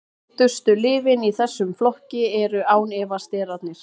þekktustu lyfin í þessum flokki eru án efa sterarnir